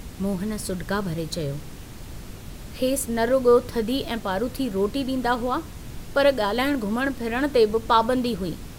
मोहन सुडिका भरे चयो, "खेसि न रुगो थधी ऐं पारुथी रोटी डींदा हुआ पर गाल्हाइण घुमण फिरण ते बि पाबंदी हुई।